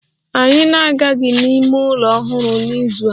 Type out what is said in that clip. Anyị na-aga n'ime ụlọ ọhụrụ n'izu a